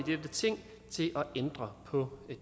ændre på